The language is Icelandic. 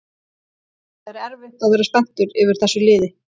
Það er erfitt að vera spenntur yfir þessu liði